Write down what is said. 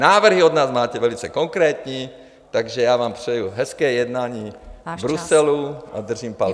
Návrhy od nás máte velice konkrétní, takže já vám přeji hezké jednání v Bruselu... ... a držím palce.